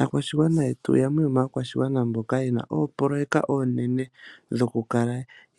Aakwashigwana yetu yamwe yo maakwashigwana mboka yena oopoloyeka oonene dhoku kala